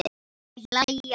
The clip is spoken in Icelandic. Þau hlæja.